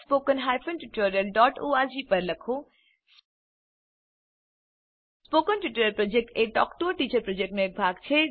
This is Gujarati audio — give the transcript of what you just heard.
સ્પોકન ટ્યુટોરીયલ પ્રોજેક્ટ એ ટોક ટુ અ ટીચર પ્રોજક્ટનો એક ભાગ છે